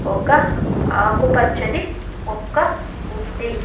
ఒక ఆకుపచ్చని మొక్క ఉంది.